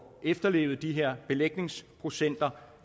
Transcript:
efterlevet de her belægningsprocenter